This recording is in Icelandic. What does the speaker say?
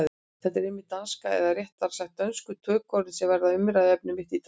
Það er einmitt danskan, eða réttara sagt dönsku tökuorðin, sem verður umræðuefni mitt í dag.